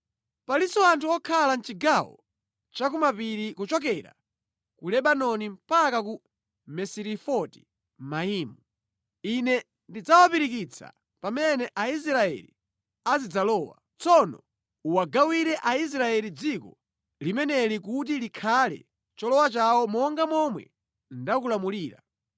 “Palinso anthu okhala mʼchigawo cha ku mapiri kuchokera ku Lebanoni mpaka ku Misirefoti-Maimu, Ine ndidzawapirikitsa pamene Aisraeli azidzalowa. Tsono uwagawire Aisraeli dziko limeneli kuti likhale cholowa chawo monga momwe ndakulamulira.